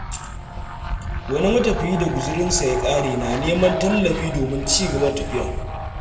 Wani matafiyi da guziransa ya ƙare na neman tallafi domin ci gaba da tafiya.